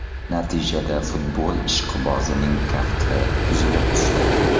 Natijada futbol ishqibozining kafti uzilib tushdi.